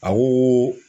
A ko